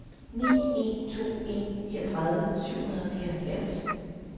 ni en to en niogtredive syv hundrede og fireoghalvfjerds